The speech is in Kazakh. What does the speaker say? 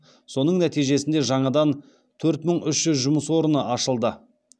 соның нәтижесінде жаңадан төрт мың үш жүз жұмыс орыны ашылды